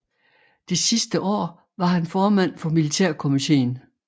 Det sidste år var han formand for militærkomitéen